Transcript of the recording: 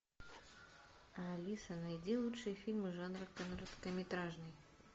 алиса найди лучшие фильмы жанра короткометражный